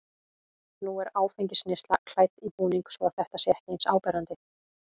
Nú er áfengisneyslan klædd í búning svo að þetta sé ekki eins áberandi.